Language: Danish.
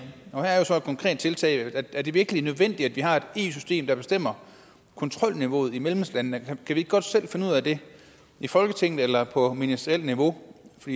og her er der jo så et konkret tiltag er det virkelig nødvendigt at vi har et eu system der bestemmer kontrolniveauet i medlemslandene kan vi ikke godt selv finde ud af det i folketinget eller på ministerielt niveau for